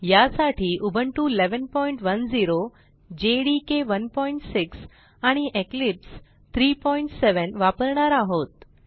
यासाठी Ubuntu 1110 JDK 16 आणि Eclipse 37 वापरणार आहोत